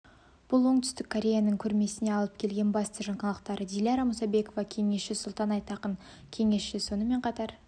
бұл оңтүстік кореяның көрмесіне алып келген басты жаңалықтары диляра мұсабекова кеңесші сұлтан айтақын кеңесші сонымен қатар